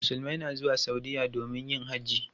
Musulmai na zuwa Saudiya domin yin hajji.